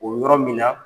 O yɔrɔ min na